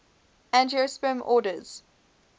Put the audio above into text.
angiosperm orders